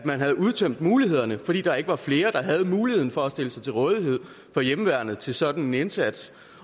at man havde udtømt mulighederne fordi der ikke var flere der havde muligheden for at stille sig til rådighed for hjemmeværnet til sådan en indsats